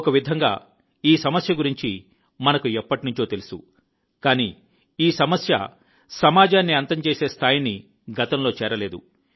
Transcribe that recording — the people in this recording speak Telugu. ఒక విధంగా ఈ సమస్య గురించి మనకు ఎప్పటినుంచో తెలుసు కానీ ఈ సమస్య సమాజాన్ని అంతం చేసే స్థాయిని గతంలో చేరలేదు